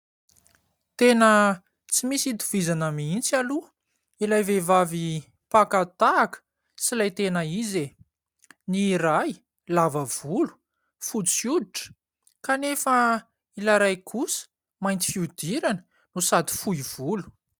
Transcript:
Tena, tsy misy itovizana mihintsy aloha, lay vehivavy paka tahaka, sy ilay tena izy e ! Ny ray , lava volo, fotsy hoditra ; kanefa, lay ray kosa, mainty fiodirana, no sady fohy volo.